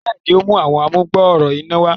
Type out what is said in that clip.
béèni, o mú Àwọn amugbooro iná wá.